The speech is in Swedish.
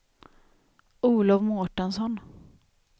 Olov Mårtensson